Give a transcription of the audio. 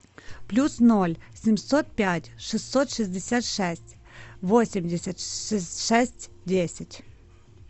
плюс ноль семьсот пять шестьсот шестьдесят шесть восемьдесят шесть десять